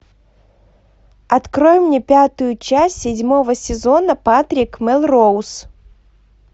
открой мне пятую часть седьмого сезона патрик мелроуз